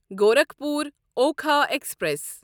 Gorakhpur Okha express